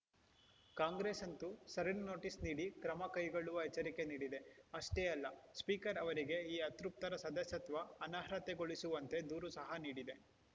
ಕಾಂಗ್ರೆಸ್‌ ಅಂತೂ ಸರಣಿ ನೋಟಿಸ್‌ ನೀಡಿ ಕ್ರಮ ಕೈಗೊಳ್ಳುವ ಎಚ್ಚರಿಕೆ ನೀಡಿದೆ ಅಷ್ಟೇ ಅಲ್ಲ ಸ್ಪೀಕರ್‌ ಅವರಿಗೆ ಈ ಅತೃಪ್ತರ ಸದಸ್ಯತ್ವ ಅನರ್ಹತೆಗೊಳಿಸುವಂತೆ ದೂರು ಸಹ ನೀಡಿದೆ